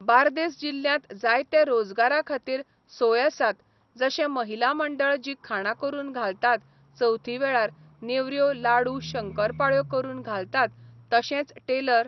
बार्देस जिल्यांत जायते रोजगारा खातीर सोय आसात जशे महिला मंडळ जी खाणां करून घालतात चवथी वेळार नेवऱ्यो लाडू शंकरपाळ्यो करून घालतात तशेंच टेलर